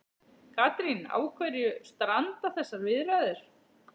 Katrín, á hverju stranda þessar viðræður?